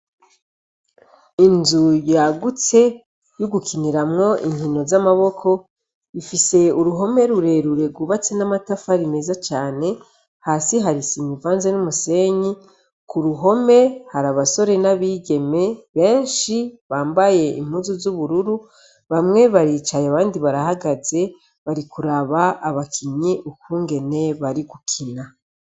Inzu yagutse yo gukiniramwo inkino z'amaboko, ifise uruhome rurerure rwubatse n'amatafari meza cane , hasi hari isima ivanze n'umusenyi, ku ruhome hari abasore n'abigeme benshi bambaye impuzu z'ubururu, bamwe baricaye abandi barahagaze bari kuraba abakinyi ukungene bari gukina.